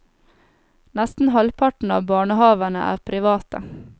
Nesten halvparten av barnehavene er private.